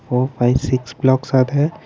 four five six blocks are there.